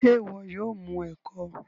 ṣe iwọ yóò mu eko?